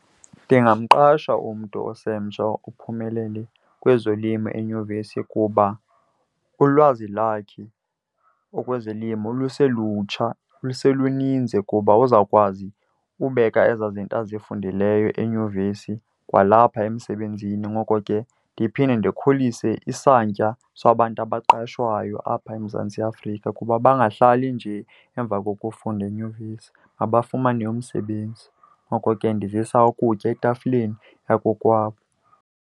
Ndingamqasha umntu osemtsha ophumelele kwezolimo enyuvesi kuba ulwazi lakhe okwezolimo luselutsha luseluninzi kuba uzawukwazi ubeka ezaa zinto azifundileyo enyuvesi kwalapha emsebenzini. Ngoko ke ndiphinde ndikhulise isantya sabantu abaqashwayo apha eMzantsi Afrika kuba bangahlali nje emva kokufunda enyuvesi, mabafumane umsebenzi. Ngoko ke ndizisa ukutya etafileni yakokwabo.